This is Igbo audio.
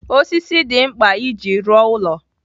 Osisi dị mkpa iji rụọ ụlọ.